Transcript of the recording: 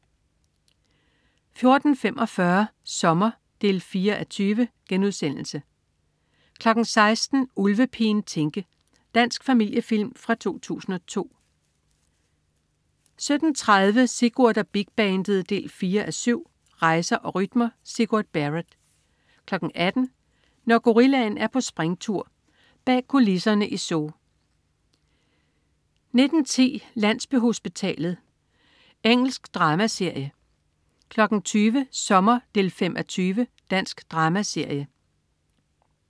14.45 Sommer 4:20* 16.00 Ulvepigen Tinke. Dansk familiefilm fra 2002 17.30 Sigurd og Big Bandet 4:7. Rejser og rytmer. Sigurd Barrett 18.00 Når gorillaen er på springtur. Bag kulisserne i zoo 19.10 Landsbyhospitalet. Engelsk dramaserie 20.00 Sommer 5:20. Dansk dramaserie